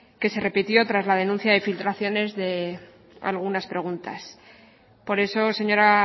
que se repitió tras la denuncia de filtraciones de algunas preguntas por eso señora